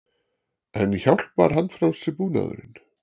En hjálpar handfrjálsi búnaðurinn?